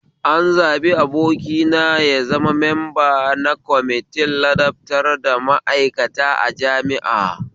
An zaɓi abokina ya zama memba na kwamitin ladabtar da ma'aikata a jami'a